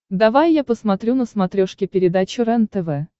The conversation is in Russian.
давай я посмотрю на смотрешке передачу рентв